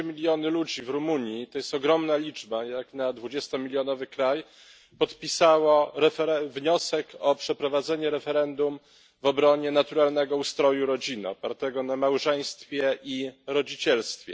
Trzy miliony ludzi w Rumunii to jest ogromna liczba jak na dwudziestomilionowy kraj podpisało wniosek o przeprowadzenie referendum w obronie naturalnego ustroju rodziny opartego na małżeństwie i rodzicielstwie.